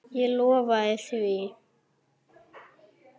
Ég lofaði því.